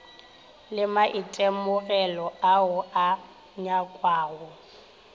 le maitemogelo ao a nyakwago